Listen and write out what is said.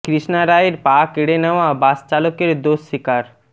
কৃষ্ণা রায়ের পা কেড়ে নেওয়া বাস চালকের দোষ স্বীকার